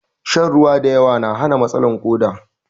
Shan ruwan da yawa na hana matsalan koɗa